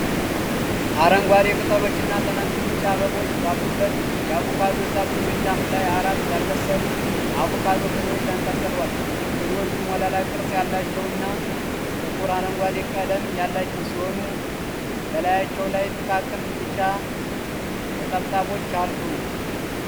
አረንጓዴ ቅጠሎችና ትናንሽ ቢጫ አበቦች ባሉበት የአቮካዶ ዛፍ ቅርንጫፍ ላይ አራት ያልበሰሉ አቮካዶ ፍሬዎች ተንጠልጥለዋል። ፍሬዎቹ ሞላላ ቅርጽ ያላቸውና ጥቁር አረንጓዴ ቀለም ያላቸው ሲሆኑ፣ በላያቸው ላይ ጥቃቅን ቢጫ ነጠብጣቦችአሉ።